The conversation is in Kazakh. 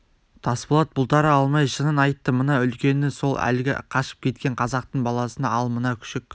тасболат бұлтара алмай шынын айтты мына үлкені сол әлгі қашып кеткен қазақтың баласы ал мына күшік